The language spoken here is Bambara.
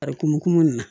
Barikuma min na